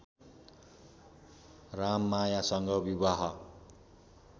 राममायासँग विवाह